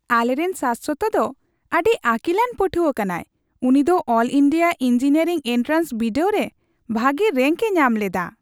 ᱟᱞᱮᱨᱮᱱ ᱥᱟᱥᱥᱚᱛ ᱫᱚ ᱟᱹᱰᱤ ᱟᱹᱠᱤᱞᱟᱱ ᱯᱟᱹᱴᱷᱣᱟᱹ ᱠᱟᱱᱟᱭ ! ᱩᱱᱤ ᱫᱚ ᱚᱞ ᱤᱱᱰᱤᱭᱟ ᱤᱝᱡᱤᱱᱤᱭᱟᱨᱤᱝ ᱮᱱᱴᱨᱟᱱᱥ ᱵᱤᱰᱟᱹᱣ ᱨᱮ ᱵᱷᱟᱜᱮ ᱨᱮᱝᱠᱼᱮ ᱧᱟᱢ ᱞᱮᱫᱟ ᱾